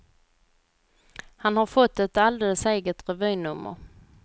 Han har får ett alldeles eget revynummer.